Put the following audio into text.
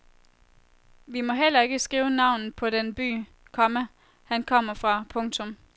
Vi må heller ikke skrive navnet på den by, komma han kommer fra. punktum